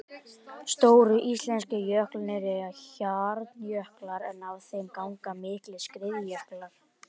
Stóru íslensku jöklarnir eru hjarnjöklar en af þeim ganga miklir skriðjöklar.